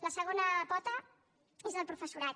la segona pota és el professorat